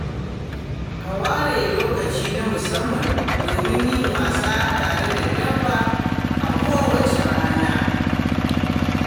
Ka ware lokaci na musamman domin yin wasa tare da dabba a kowace rana.